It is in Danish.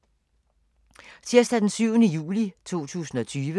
Tirsdag d. 7. juli 2020